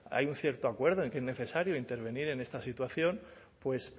hay un cierto acuerdo en que es necesario intervenir en esta situación pues